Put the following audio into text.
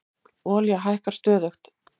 Olía hækkar stöðugt